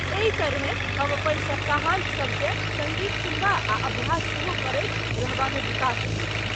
एहि तरहेँ हम अपन सप्ताहान्त सबकेँ सङ्गीत सुनबा आ अभ्यास सेहो करैत रहबामे बिता सकैत छी।